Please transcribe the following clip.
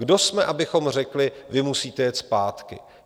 Kdo jsme, abychom řekli: Vy musíte jet zpátky?